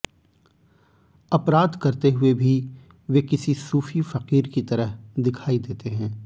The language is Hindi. अपराध करते हुए भी वे किसी सूफी फ़कीर की तरह दिखाई देते हैं